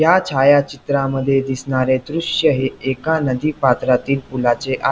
या छायाचित्रामध्ये दिसणारे दृश्य हे एका नदी पात्रातील पुलाचे आ--